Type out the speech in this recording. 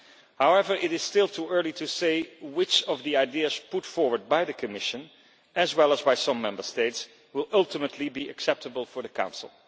However, it is still too early to say which of the ideas put forward by the Commission, as well as by some Member States, will ultimately be acceptable for the Council.